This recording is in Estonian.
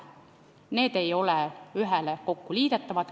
Need ei ole kokku liidetavad.